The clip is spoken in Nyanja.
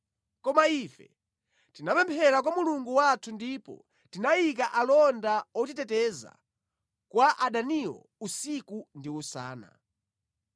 Koma ife tinapemphera kwa Mulungu wathu ndipo tinayika alonda otiteteza kwa adaniwo usiku ndi usana.